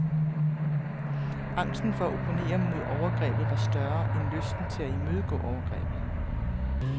Angsten for at opponere mod overgrebet var større, end lysten til at imødegå overgrebet.